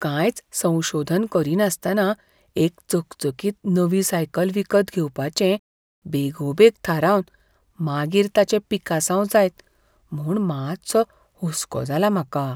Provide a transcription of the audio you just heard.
कांयच संशोधन करिनासतना एक चकचकीत नवी सायकल विकत घेवपाचें बेगोबेग थारावन मागीर ताचें पिकासांव जायत म्हूण मातसो हुसको जाला म्हाका.